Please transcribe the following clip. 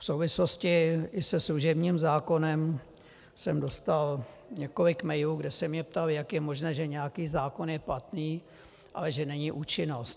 V souvislosti i se služebním zákonem jsem dostal několik mailů, kde se mě ptali, jak je možné, že nějaký zákon je platný, ale že není účinnost.